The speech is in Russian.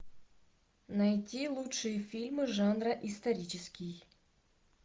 найди лучшие фильмы жанра исторический